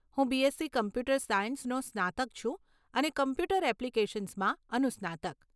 હું BSc computer સાયન્સનો સ્નાતક છું અને કોમ્પ્યુટર એપ્લિકેશન્સમાં અનુસ્નાતક.